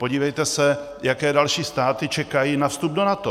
Podívejte se, jaké další státy čekají na vstup do NATO.